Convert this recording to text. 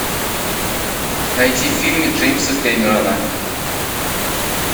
найти фильмы джеймса кэмерона